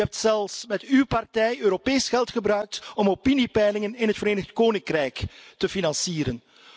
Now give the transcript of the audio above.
U hebt zelfs met uw partij Europees geld gebruikt om opiniepeilingen in het Verenigd Koninkrijk te financieren.